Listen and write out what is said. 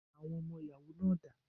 Àwọn ọmọ ìyàwó náà dà?